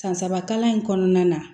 San saba kalan in kɔnɔna na